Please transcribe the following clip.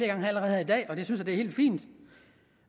her i dag og det synes jeg er helt fint